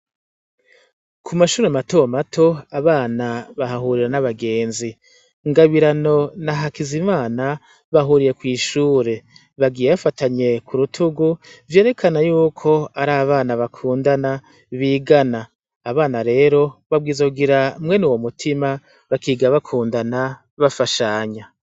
Ku mashuri matomato abana bahahurira n'abagenzi. Ngabirano na Hakizimana bahuriye kw'ishure, bagiye bafatanye ku rutugu vyerekana yuko ari abana bakundana bigana. Abana rero babwirizwa kugira mwene uwo mutima bakiga bakundana, bafashanya.